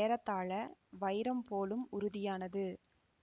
ஏறத்தாழ வைரம் போலும் உறுதியானது